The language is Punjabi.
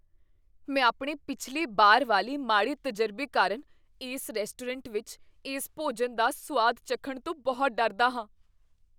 ਮੈਂ ਆਪਣੇ ਪਿਛਲੇ ਬਾਰ ਵਾਲੇ ਮਾੜੇ ਤਜਰਬੇ ਕਾਰਨ ਇਸ ਰੈਸਟੋਰੈਂਟ ਵਿੱਚ ਇਸ ਭੋਜਨ ਦਾ ਸੁਆਦ ਚੱਖਣ ਤੋਂ ਬਹੁਤ ਡਰਦਾ ਹਾਂ।